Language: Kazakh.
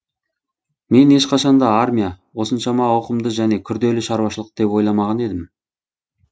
мен ешқашан да армия осыншама ауқымды және күрделі шаруашылық деп ойламаған едім